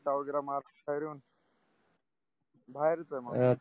वगेर करून बाहेरच आहे मग